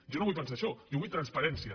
jo no vull pensar això jo vull transparència